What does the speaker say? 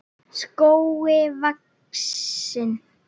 skógi vaxinn.